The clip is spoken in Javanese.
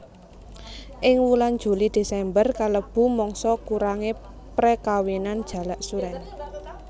Ing wulan Juli Desember kalebu mangsa kurange prekawinan Jalak suren